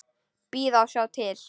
Bíða og sjá til.